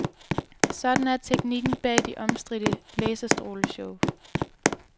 Sådan er teknikken bag de omstridte laserstråleshow.